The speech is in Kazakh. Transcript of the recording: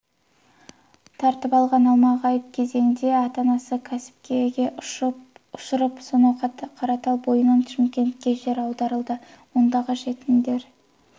тартып алған алмағайып кезеңде ата-анасы кәмпескеге ұшырап сонау қаратал бойынан шымкентке жер аударылды ондағы жетімдер